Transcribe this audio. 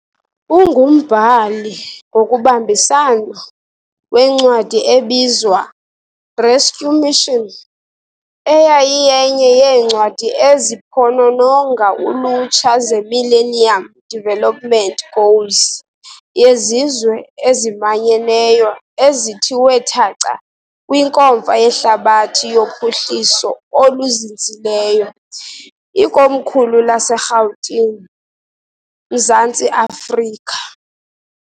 Ungumbhali ngokubambisana wencwadi ebizwa, 'Rescue Mission', eyayiyenye yeencwadi eziphonononga ulutsha zeMillennium Development Goals yeZizwe eziManyeneyo ezithiwe thaca kwiNkomfa yeHlabathi yoPhuhliso oluZinzileyo , ikomkhulu laseRhawutini. , Mzantsi Afrika.